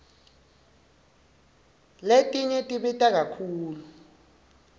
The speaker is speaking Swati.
letinye tibita kakhulu